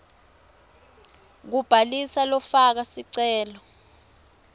kubhalisa lofaka sicelo